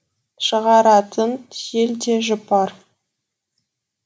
шығаратын жел де жұпар